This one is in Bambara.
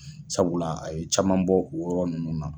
Sabula a ye caman bɔ o yɔrɔ ninnu na.